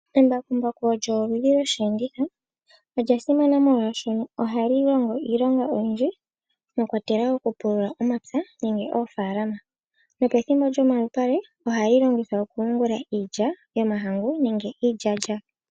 Embakumbaku olyo oludhi lwosheenditho,. Olya simana molwaashono ohali longo iilonga oyindji, mwa kwatelwa oku pulula omapya nenge oofaalama, nopethimbo lyomalupale ohali longithwa oku yungula iilya yomahangu nenge iilyaalyaka.